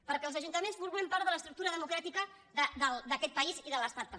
perquè els ajuntaments formem part de l’estructura democràtica d’aquest país i de l’estat també